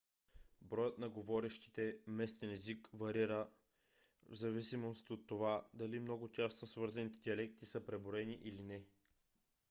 броят на говорящите местен език варира в зависимост от това дали много тясно свързаните диалекти са преброени или не